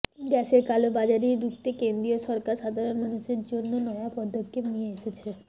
গ্যাসের কালো বাজারি রুখতে কেন্দ্রীয় সরকার সাধারণ মানুষের জন্য নয়া পদক্ষেপ নিয়ে এসেছে